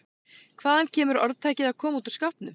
Hvaðan kemur orðtakið að koma út úr skápnum?